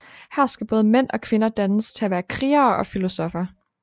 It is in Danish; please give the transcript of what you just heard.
Her skal både mænd og kvinder dannes til at være krigere og filosoffer